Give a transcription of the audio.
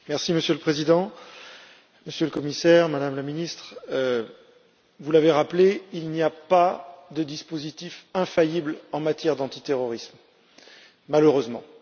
Monsieur le Président, Monsieur le Commissaire, Madame la Ministre, vous l'avez rappelé, il n'y a pas de dispositif infaillible en matière d'antiterrorisme, malheureusement.